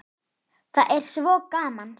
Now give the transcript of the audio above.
Það er svo gaman.